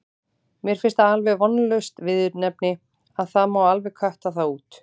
Mér finnst það alveg vonlaust viðurnefni og það má alveg kötta það út.